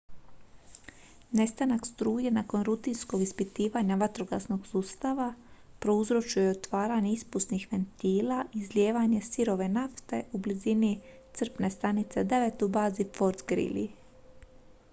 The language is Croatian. nestanak struje nakon rutinskog ispitivanja vatrogasnog sustava prouzročio je otvaranje ispusnih ventila i izlijevanje sirove nafte u blizini crpne stanice 9 u bazi fort greely